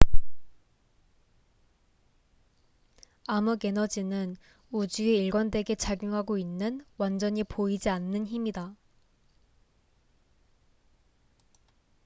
암흑에너지는 우주에 일관되게 작용하고 있는 완전히 보이지 않는 힘이다